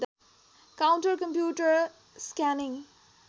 counter computer scanning